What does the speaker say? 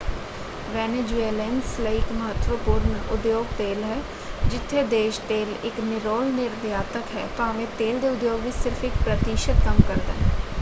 Venezuelans ਲਈ ਇਕ ਮਹੱਤਵਪੂਰਨ ਉਦਯੋਗ ਤੇਲ ਹੈ ਜਿੱਥੇ ਦੇਸ਼ ਤੇਲ ਇਕ ਨਿਰੋਲ ਨਿਰਯਾਤਕ ਹੈ ਭਾਵੇਂ ਤੇਲ ਦੇ ਉਦਯੋਗ ਵਿੱਚ ਸਿਰਫ ਇਕ ਪ੍ਰਤਿਸ਼ਤ ਕੰਮ ਕਰਦਾ ਹੈ।